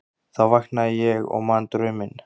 Þá vaknaði ég og man drauminn.